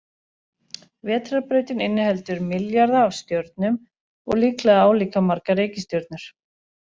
Vetrarbrautin inniheldur milljarða af stjörnum og líklega álíka margar reikistjörnur.